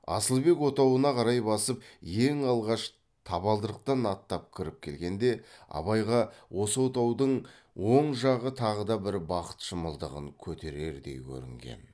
асылбек отауына қарай басып ең алғаш табалдырықтан аттап кіріп келгенде абайға осы отаудың оң жағы тағы да бір бақыт шымылдығын көтерердей көрінген